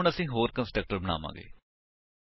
ਹੁਣ ਅਸੀ ਹੋਰ ਕੰਸਟਰਕਟਰ ਬਣਾਵਾਂਗੇ